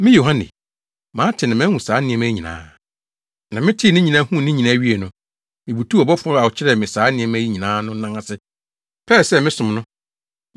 Me Yohane, mate na mahu saa nneɛma yi nyinaa. Na metee ne nyinaa, huu ne nyinaa wiei no, mibutuw ɔbɔfo no a ɔkyerɛɛ me saa nneɛma yi nyinaa no nan ase pɛɛ sɛ mesom no.